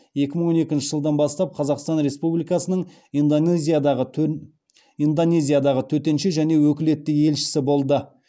екі мың он екінші жылдан бастап қазақстан республикасының индонезиядағы төтенше және өкілетті елшісі болды